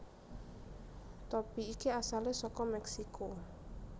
Topi iki asale saka Meksiko